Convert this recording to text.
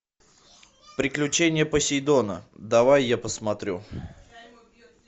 приключения посейдона давай я посмотрю